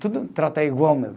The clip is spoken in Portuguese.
Tudo trata igual mesmo.